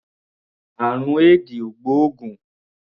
Àrùn éèdì ò gbóògùn.